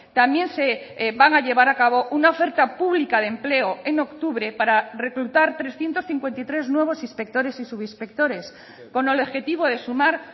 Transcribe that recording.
también se van a llevar a cabo una oferta pública de empleo en octubre para reclutar trescientos cincuenta y tres nuevos inspectores y subinspectores con el objetivo de sumar